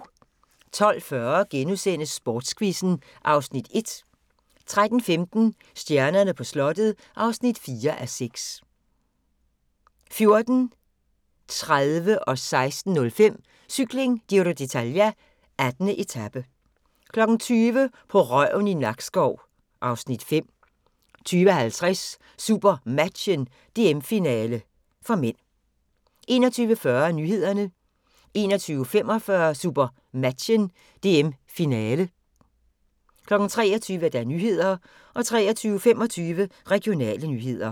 12:40: Sportsquizzen (Afs. 1)* 13:15: Stjernerne på slottet (4:6) 14:30: Cykling: Giro d'Italia - 18. etape 16:05: Cykling: Giro d'Italia - 18. etape 20:00: På røven i Nakskov (Afs. 5) 20:50: SuperMatchen: DM-finale (m) 21:40: Nyhederne 21:45: SuperMatchen: DM-finale 23:00: Nyhederne 23:25: Regionale nyheder